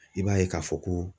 I b'a ye k'a fɔ ko .